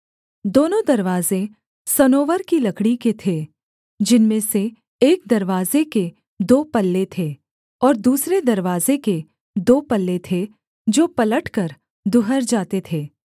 दोनों दरवाजे सनोवर की लकड़ी के थे जिनमें से एक दरवाजे के दो पल्ले थे और दूसरे दरवाजे के दो पल्ले थे जो पलटकर दुहर जाते थे